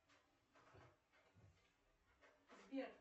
сбер